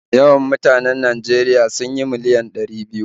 Yawan mutanen Najeriya sun miliyan ɗari biyu